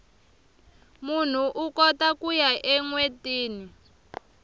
munhu ukota kuya enwetini